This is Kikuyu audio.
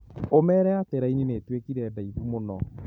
ũmeere atĩ raini nĩ ituĩkire ndaihu mũno.